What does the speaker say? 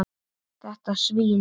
Þetta svín.